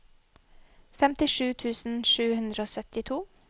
femtisju tusen sju hundre og syttito